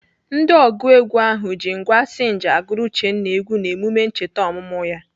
Ndị ọgụ egwu ahụ ji ngwá sinj agụrụ Uchenna egwu n'emume ncheta ọmụmụ ya.